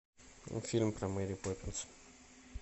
фильм про мэри поппинс